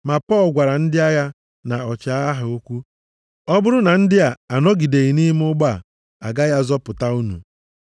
Ma Pọl gwara ndị agha na ọchịagha ha okwu, “Ọ bụrụ na ndị a anọgideghị nʼime ụgbọ a, agaghị azọpụta unu.”